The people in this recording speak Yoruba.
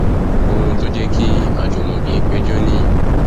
ohun tó jẹ kí ajímọbì péjọ nìyí